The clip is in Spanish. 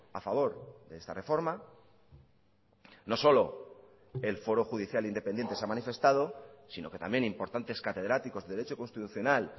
a favor de esta reforma no solo el foro judicial independiente se ha manifestado sino que también importantes catedráticos de derecho constitucional